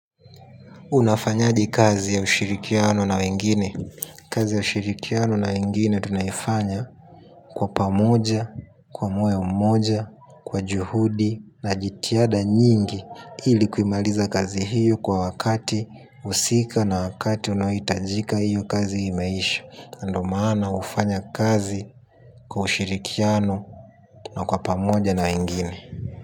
Unafanyaje kazi ya ushirikiano na wengine. Kazi ya ushirikiano na wengine tunayofanya kwa pamoja, kwa moyo mmoja, kwa juhudi na jitihada nyingi ili kuimaliza kazi hiyo kwa wakati husika na wakati unaohitajika hiyo kazi imeisha, ndo maana hufanya kazi kwa ushirikiano na kwa pamoja na wengine.